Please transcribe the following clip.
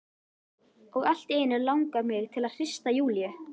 Og allt í einu langar mig til að hrista Júlíu.